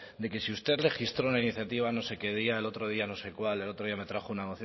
de que si usted registró una iniciativa no sé qué día el otro día no sé cuál el otro día me trajo una